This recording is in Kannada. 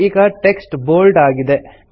ಈಗ ಟೆಕ್ಸ್ಟ್ ಬೋಲ್ಡ್ ಆಗಿದೆ